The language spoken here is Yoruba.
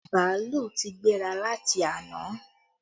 Bàálù ti gbéra láti àná